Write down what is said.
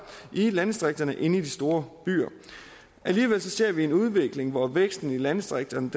i landdistrikterne end i de store byer alligevel ser vi en udvikling hvor væksten i landdistrikterne